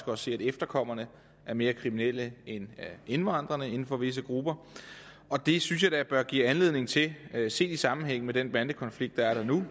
også se at efterkommerne er mere kriminelle end indvandrerne inden for visse grupper og det synes jeg da bør give anledning til set i sammenhæng med den bandekonflikt der er der nu